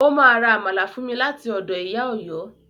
Ó ma ra Àmàlà fún mi láti ọ̀dọ̀ Ìyá Ọ̀yọ́